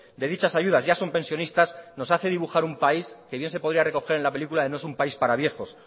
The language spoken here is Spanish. de dichas ayudas ya son pensionistas nos hace dibujar un país que bien se podría recoger en la película de no es un país para viejos